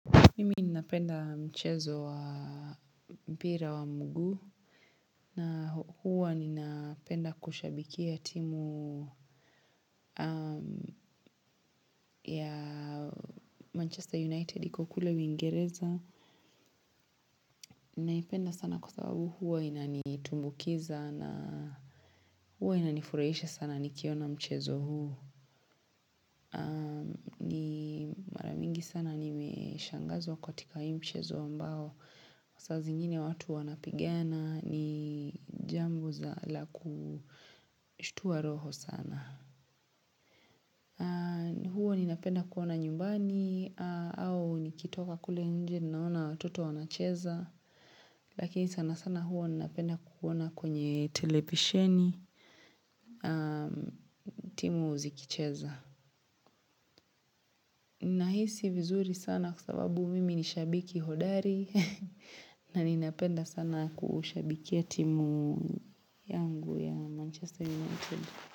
Mimi ninapenda mchezo wa mpira wa mguu na huwa ninapenda kushabikia timu ya Manchester United iko kule uingereza. Ninaipenda sana kwa sababu huwa inanitumbukiza na huwa inanifurahisha sana nikiona mchezo huu. Mara mingi sana nimeshangazwa katika hii mchezo ambao saa zingine watu wanapigana ni jambo za la kushtua roho sana. Huo ninapenda kuona nyumbani au nikitoka kule nje ninaona watoto wanacheza. Lakini sana sana huwa ninapenda kuona kwenye televisheni. Timu ziikicheza. Nahisi vizuri sana kwa sababu mimi ni shabiki hodari. Na ninapenda sana kushabikia timu yangu.